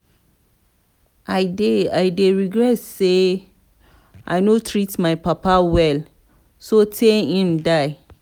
i dey dey regret say i no treat my papa well so tey im die.